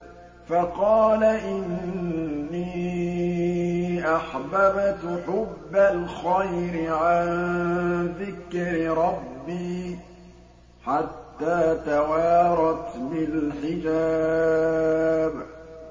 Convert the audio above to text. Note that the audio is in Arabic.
فَقَالَ إِنِّي أَحْبَبْتُ حُبَّ الْخَيْرِ عَن ذِكْرِ رَبِّي حَتَّىٰ تَوَارَتْ بِالْحِجَابِ